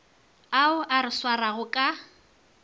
ao a re swarago ka